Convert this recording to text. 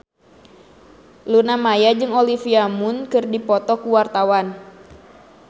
Luna Maya jeung Olivia Munn keur dipoto ku wartawan